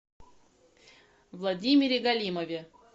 владимире галимове